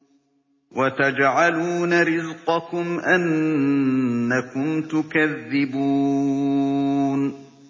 وَتَجْعَلُونَ رِزْقَكُمْ أَنَّكُمْ تُكَذِّبُونَ